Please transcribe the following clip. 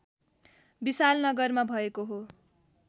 विशालनगरमा भएको हो